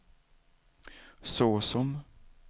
såsom